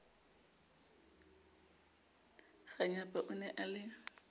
kganyapa o ne a le